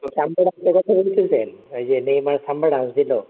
কথা বলতেছেন ওই যে নেইমার খাম্বা dance দিলও